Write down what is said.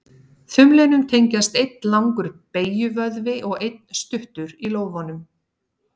Þumlinum tengjast einn langur beygjuvöðvi og einn stuttur í lófanum.